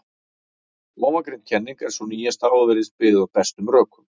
Ofangreind kenning er sú nýjasta og virðist byggð á bestum rökum.